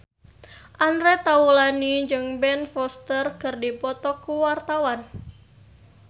Andre Taulany jeung Ben Foster keur dipoto ku wartawan